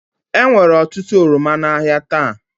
Enwere otutu oroma n'ahịa taa